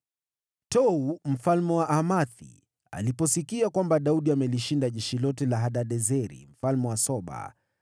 Tou mfalme wa Hamathi aliposikia kwamba Daudi amelishinda jeshi lote la Hadadezeri mfalme wa Soba,